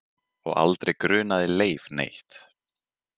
Og aldrei grunaði Leif neitt.